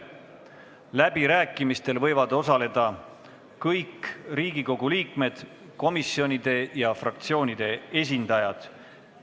Läbirääkimistel võivad osaleda kõik Riigikogu liikmed, komisjonide ja fraktsioonide esindajad.